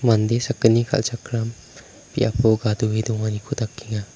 mande sakgni kal·chakram biapo gadoe donganiko dakenga.